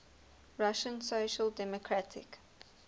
russian social democratic